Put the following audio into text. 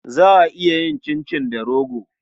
Za a iya yin cincin da rogo.